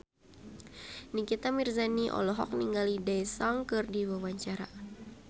Nikita Mirzani olohok ningali Daesung keur diwawancara